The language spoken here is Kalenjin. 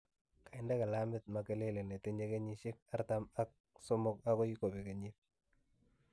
kainde gilamit Makelele netinye kenyisiek artam ak somok agoi kobeg kenyiit